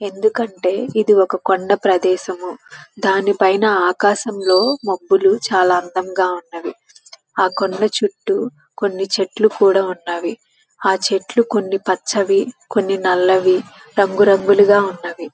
ఎందుకు అంటే ఇది ఒక కొండా ప్రదేశము. దాని పైన ఆకాశంలో మబ్బులు చాలా అందంగా ఉన్నాయి. ఆ కొండా చుట్టూ కొన్ని చెట్లు కూడా ఉన్నవి. అవి కొన్ని చెట్లు పచ్హహావి కొన్ని నల్లవి కొన్ని రంగు రంగులుగా ఉన్నవి.